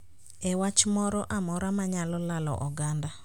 E wach moro amora ma nyalo lalo oganda